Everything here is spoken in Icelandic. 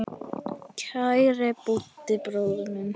Kæri Búddi bróðir minn.